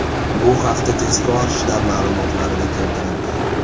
Bu haqda tezkor shtab ma’lumotlarida keltirilgan .